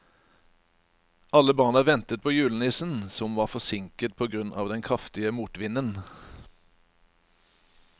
Alle barna ventet på julenissen, som var forsinket på grunn av den kraftige motvinden.